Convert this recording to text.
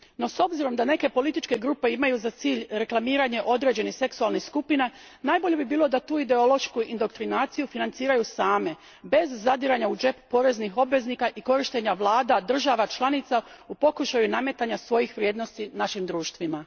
No, s obzirom da neke političke grupe imaju za cilj reklamiranje određenih seksualnih skupina, najbolje bi bilo da tu ideološku indoktrinaciju financiraju same, bez zadiranja u džep poreznih obveznika i korištenja vlada država članica u pokušaju nametanja svojih vrijednosti našim društvima.